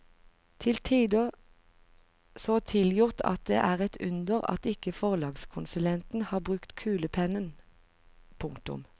Til tider så tilgjort at det er et under at ikke forlagskonsulenten har brukt kulepennen. punktum